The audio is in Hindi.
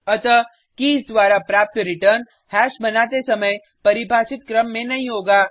अतः कीज द्वारा प्राप्त रिटर्न हैश बनाते समय परिभाषित क्रम में नहीं होगा